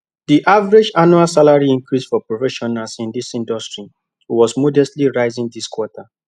the average annual salary increase for professionals in the industry was modestly rising this quarter